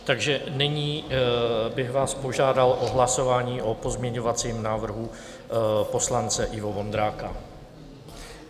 Takže nyní bych vás požádal o hlasování o pozměňovacím návrhu poslance Ivo Vondráka.